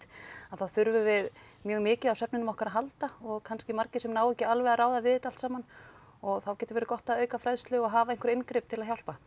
að þá þurfum við mjög mikið á svefninum okkar að halda og kannski margir sem ná ekki alveg að ráða við þetta allt saman og þá getur verið gott að auka fræðslu og hafa einhver inngrip til að hjálpa